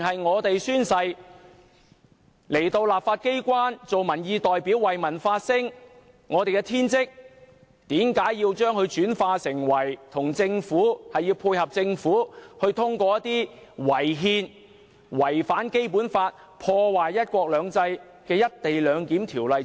我們宣誓進入立法機關擔任民意代表，為民發聲是我們的天職，為何要我們配合政府，通過違憲、違反《基本法》、破壞"一國兩制"的《條例草案》？